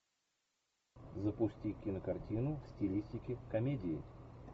запусти кинокартину в стилистике комедии